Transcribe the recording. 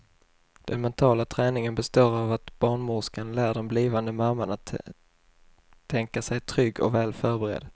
Den mentala träningen består av att barnmorskan lär den blivande mamman att tänka sig trygg och väl förberedd.